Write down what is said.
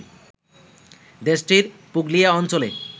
দেশটির পুগলিয়া অঞ্চলে